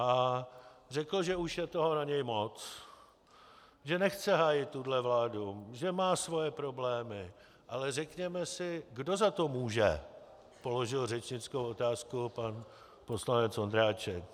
A řekl, že už je toho na něj moc, že nechce hájit tuhle vládu, že má svoje problémy, ale řekněme si, kdo za to může, položil řečnickou otázku pan poslanec Ondráček.